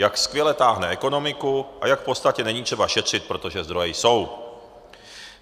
Jak skvěle táhne ekonomiku a jak v podstatě není třeba šetřit, protože zdroje jsou.